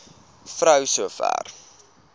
vrou so ver